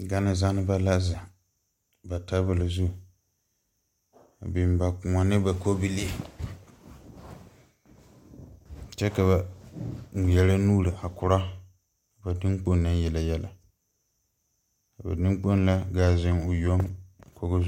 Gane zanneba zeŋ ba tabole zu a biŋ ba kõɔ ne ba kobilii kyɛ ka ba ngmɛrɛ nuure a korɔ ba tuŋkpo naŋ yele yɛlɛ a ba neŋkpoŋ la gaa zeŋ o yoŋ kogo.